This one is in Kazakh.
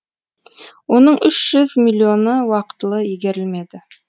оның үш жүз миллионы уақытылы игерілмеді